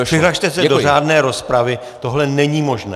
Přihlaste se do řádné rozpravy, tohle není možné!